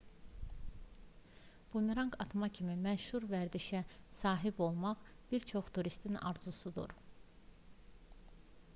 bumeranq atma kimi məşhur vərdişə sahib olmaq bir çox turistin arzusudur